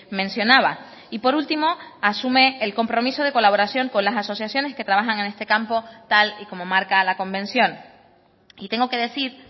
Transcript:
mencionaba y por último asume el compromiso de colaboración con las asociaciones que trabajan en este campo tal y como marca la convención y tengo que decir